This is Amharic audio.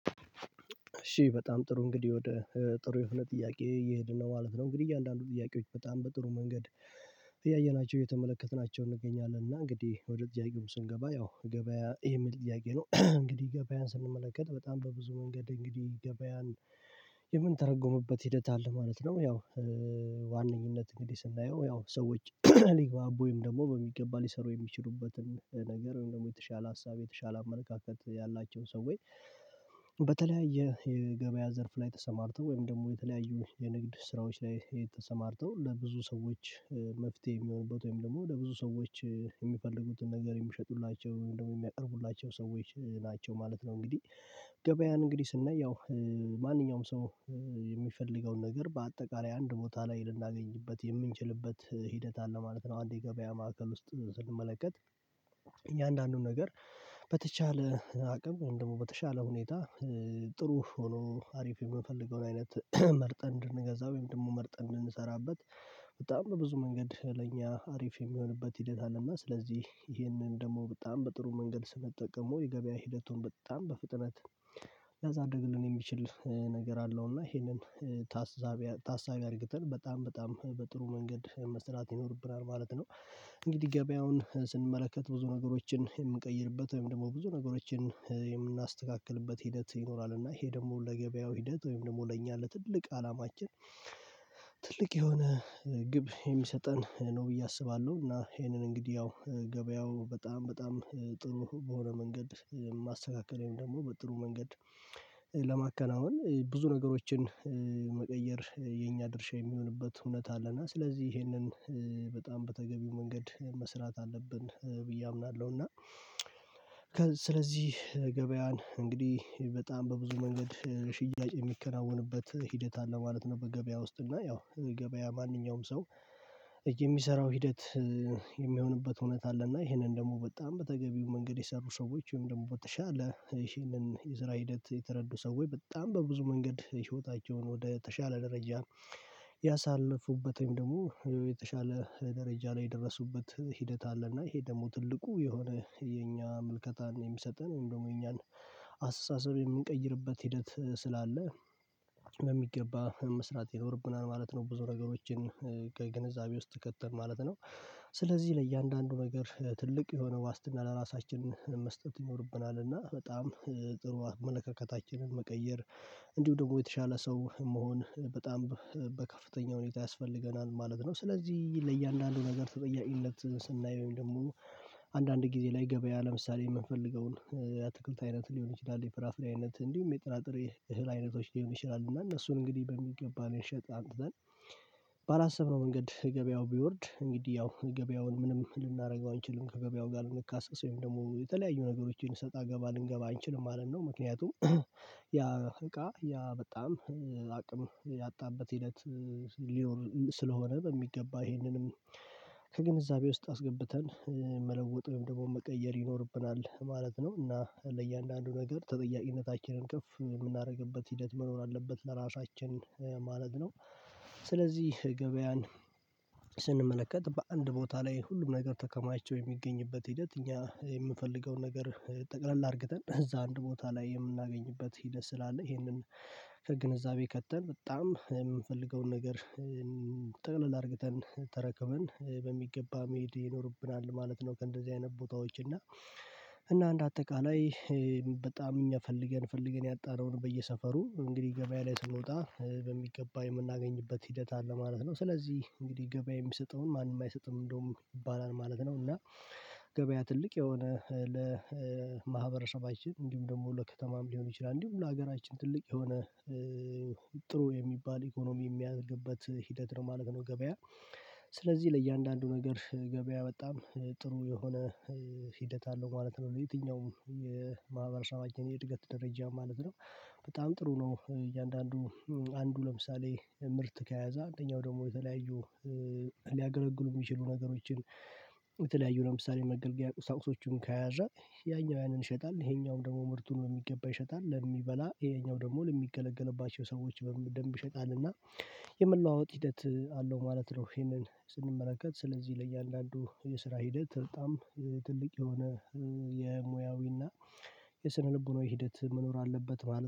እሺ በጣም ጥሩ እንግዲህ ወደ ጥሩ የሆነ ጥያቄ እየሄድን ነው ማለት ነው እንግዲህ እያንዳንዱ ጥያቄዎች በጣም በጥሩ መንገድ እያየናቸው እየተመለከትናቸው እንገኛለን እና እንግዲህ ወደ ጥያቄው ስንገባ ያው ገበያ ይሄ ምን ጥያቄ ነው እንግዲህ ገበያን ስንመለከት በጣም በብዙ መንገድ እንግዲህ ገበያን የምንተረጎምበት ሂደት አለ ማለት ነው ያው ዋነኝነት እንግዲህ ስናየው ያው ሰዎች ሊግባቡም ደግሞ በሚገባ ሊሰሩ የሚችሉበትን ነገር ወይም ደግሞ የተሻለ ሀሳብ የተሻለ አመለካከት ያላቸው ሰው ወይ በተለያየ የገበያ ዘርፍ ላይ ተሰማርተው ወይም ደግሞ የተለያዩ የንግድ ስራዎች ላይ የተሰማርተው ለብዙ ሰዎች መፍትሄ የሚሆንበት ወይም ደግሞ ለብዙ ሰዎች የሚፈልጉትን ነገር የሚሸጡላቸውን ወይም ደግሞ የሚያቀርቡላቸው ሰዎች ናቸው ማለት ነው እንግዲህ ገበያን እንግዲህ ስናይ ያው ማንኛውም ሰው የሚፈልገውን ነገር በአጠቃላይ አንድ ቦታ ላይ ልናገኝበት የምንችልበት ሂደት አለ ማለት ነው አንድ ገበያ ማዕከል ውስጥ ስንመለከት አንዳንዱን ነገር በተቻለ አቅም ወይም ደግሞ በተቻለ ሁኔታ ጥሩ ሆኖ አሪፍ የምፈልገው አይነት መርጠን እንድንገዛ ወይም ደግሞ መርጠን እንሰራበት በጣም በብዙ መንገድ ለእኛ አሪፍ የሚሆንበት ሂደት አለና ስለዚህ ይሄንን ደግሞ በጣም በጥሩ መንገድ ስንጠቀመው የገበያ ሂደቱን በጣም በፍጥነት ሊያሳድግልን የሚችል ነገር አለው እና ይሄንን ታሳቢ ታሳቢ አድርግተን በጣም በጣም በጥሩ መንገድ መስራት ይኖርብናል ማለት ነው እንግዲህ ገበያውን ስንመለከት ብዙ ነገሮችን የምንቀይርበት ወይም ደግሞ ብዙ ነገሮችን የምናስተካክልበት ሂደት ይኖራል እና ይሄ ደግሞ ለገበያው ሂደት ወይም ደግሞ ለእኛ ለትልቅ አላማችን ትልቅ የሆነ ግብ የሚሰጠን ነው ብዬ አስባለሁ እና ይሄንን እንግዲህ ያው ገበያው በጣም በጣም ጥሩ በሆነ መንገድ ማስተካከሌን ደግሞ በጥሩ መንገድ ለማከናወን ብዙ ነገሮችን መቀየር የኛ ድርሻ የሚሆንበት እውነት አለና ስለዚህ ይሄንን በጣም በተገቢው መንገድ መስራት አለብን ብዬ አምናለሁና ስለዚህ ገበያን እንግዲህ በጣም በብዙ መንገድ ሽያጭ የሚከናወንበት ሂደት አለ ማለት ነው በገበያ ውስጥ እና ያው ገበያ ማንኛውም ሰው የሚሰራው ሂደት የሚሆንበት እውነት አለና ይህንን ደግሞ በጣም በተገቢው መንገድ የሰሩ ሰዎች ወይም ደግሞ በተሻለ ይሄንን የስራ ሂደት የተረዱ ሰዎች በጣም በብዙ መንገድ ህይወታቸውን ወደ ተሻለ ደረጃ ያሳለፉበት ደግሞ የተሻለ ደረጃ ላይ የደረሱበት ሂደት አለ እና ይሄ ደግሞ ትልቁ የሆነ የኛ ምልከታን የሚሰጠን ደግሞ የኛን አስተሳሰብ የሚቀይርበት ሂደት ስላለ በሚገባ መስራት ይኖርብናል ማለት ነው ብዙ ነገሮችን ከግንዛቤ ውስጥ ከተን ማለት ነው ስለዚህ ለእያንዳንዱ ነገር ትልቅ የሆነ ዋስትና ለራሳችን መስጠት ይኖርብናልና በጣም ጥሩ አመለካከታችንን መቀየር እንዲሁ ደግሞ የተሻለ ሰው መሆን በጣም በከፍተኛ ሁኔታ ያስፈልገናል ማለት ነው ስለዚህ ለእያንዳንዱ ነገር ተጠያቂነትን ስናይ ወይም ደግሞ አንዳንድ ጊዜ ላይ ገበያ ለምሳሌ የምንፈልገውን የአትክልት አይነት ሊሆን ይችላል የፍራፍሬ አይነት እንዲሁም የጥራጥሬ እህል አይነቶች ሊሆን ይችላል እና እነሱን እንግዲህ በሚገባ ነው ልንሸጥ አምጥተን መንገድ ገበያው ቢወርድ እንግዲህ ያው ገበያውን ምንም ልናደርገው አንችልም ከገበያው ጋር ልንካሰስ ወይም ደግሞ የተለያዩ ነገሮችን ሰጣ ገባ ልንገባ አንችልም ማለት ነው ምክንያቱም ያ እቃ ያ በጣም አቅም ያጣበት ሂደት ሊሆን ስለሆነ በሚገባ ይሄንንም ከግንዛቤ ውስጥ አስገብተን መለወጥም ደግሞ መቀየር ይኖርብናል ማለት ነው እና ለእያንዳንዱ ነገር ተጠያቂነታችንን ከፍ የምናደርግበት ሂደት መኖር አለበት ለራሳችን ማለት ነው ስለዚህ ገበያን ስንመለከት በአንድ ቦታ ላይ ሁሉም ነገር ተከማችተው የሚገኝበት ሂደት እኛ የምፈልገውን ነገር ጠቅለል አድርግተን እዛ አንድ ቦታ ላይ የምናገኝበት ሂደት ስላለ ይሄንን ከግንዛቤ ከተን በጣም የምንፈልገውን ነገር ጠቅለል አድርግተን ተረከበን በሚገባ መሄድ ይኖርብናል ማለት ነው ከእንደዚህ አይነት ቦታዎች እና እና እንድ አጠቃላይ በጣም እኛ ፈልገን ፈልገን ያጣነውን በየሰፈሩ እንግዲህ ገበያ ላይ ስንወጣ በሚገባ የምናገኝበት ሂደት አለ ማለት ነው ስለዚህ እንግዲህ ገበያ የሚሰጠውን ማንም አይሰጥም እንደውም ይባላል ማለት ነው እና ገበያ ትልቅ የሆነ ለማህበረሰባችን እንዲሁም ደግሞ ለከተማም ሊሆን ይችላል እንዲሁም ለሀገራችን ትልቅ የሆነ ጥሩ የሚባል ኢኮኖሚ የሚያድግበት ሂደት ነው ማለት ነው ገበያ ስለዚህ ለእያንዳንዱ ነገር ገበያ በጣም ጥሩ የሆነ ሂደት አለው ማለት ነው የትኛውም የማህበረሰባችን የእድገት ደረጃ ማለት ነው በጣም ጥሩ ነው እያንዳንዱ አንዱ ለምሳሌ ምርት ከያዘ አንደኛው ደግሞ የተለያዩ ሊያገለግሉ የሚችሉ ነገሮችን በተለያዩ ለምሳሌ መገልገያ ቁሳቁሶቹን ከያዛ ያኛው ያንን ይሸጣል ይሄኛውም ደግሞ ምርቱን በሚገባ ይሸጣል ለሚበላ ይሄኛው ደግሞ ለሚገለገልባቸው ሰዎች በደንብ ይሸጣልና የመለዋወጥ ሂደት አለው ማለት ነው ይሄንን ስንመለከት ስለዚህ ለእያንዳንዱ የስራ ሂደት በጣም ትልቅ የሆነ የሙያዊና የስነ ልቦናዊ ሂደት መኖር አለበት ማለት ነው።